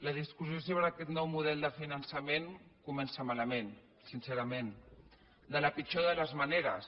la discussió sobre aquest nou model de finançament comença malament sincerament de la pitjor de les maneres